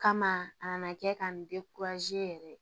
Kama a nana kɛ ka n yɛrɛ